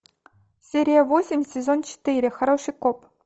серия восемь сезон четыре хороший коп